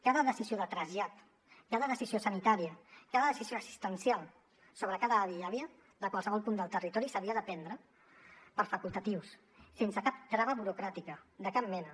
cada decisió de trasllat cada decisió sanitària cada decisió assistencial sobre cada avi i àvia de qualsevol punt del territori s’havia de prendre per facultatius sense cap trava burocràtica de cap mena